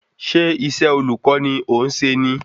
Ṣé isé olùkó ni ọ̀ ń se ní?